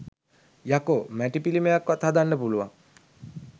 යකෝ මැටි පිලිමයක්වත් හදන්න පුලුවන්